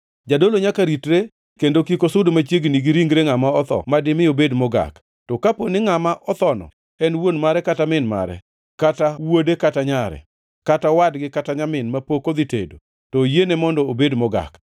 “ ‘Jadolo nyaka ritre, kendo kik osud machiegni gi ringre ngʼama otho ma dimi obed mogak. To kapo ni ngʼama othono en wuon mare kata min mare, kata wuode kata nyare, kata owadgi kata nyamin mapok odhi tedo, to oyiene mondo obed mogak.